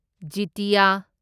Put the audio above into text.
ꯖꯤꯇꯤꯌꯥ